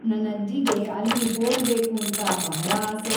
ನನ್‌ ಅಜ್ಜಿಗೆ ಅಲ್ಲಿ ಹೋಗಬೇಕುಂತಾ ಬಹಳಾ ಆಸೆ.